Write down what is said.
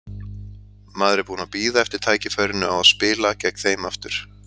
Maður er búinn að bíða eftir tækifærinu á að spila gegn þeim aftur.